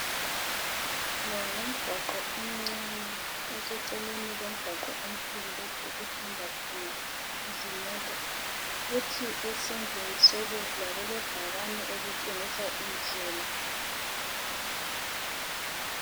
Lo ngumgwaqo omncane oseceleni komgwaqo omkhulu lapho okuhamba khona izimota, kuthi esandleni sokudla kulebhakane elitshengisa indlela.